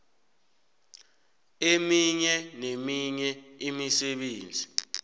eminye neminye imisebenzi